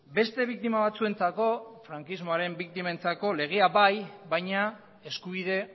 beste biktima batzuentzako frankismoaren biktimentzako legea bai baina eskubide